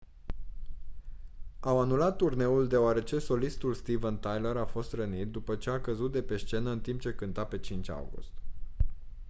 au anulat turneul deoarece solistul steven tyler a fost rănit după ce a căzut de pe scenă în timp ce cânta pe 5 august